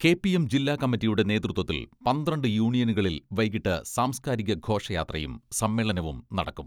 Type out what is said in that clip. K P M ജില്ലാകമ്മിറ്റിയുടെ നേതൃത്വത്തിൽ പന്ത്രണ്ട് യൂണിയനുകളിൽ വൈകിട്ട് സാംസ്കാരിക ഘോഷയാത്രയും സമ്മേളനവും നടക്കും.